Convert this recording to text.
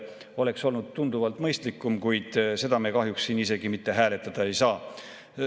See oleks olnud tunduvalt mõistlikum, kuid seda me kahjuks siin isegi hääletada ei saa.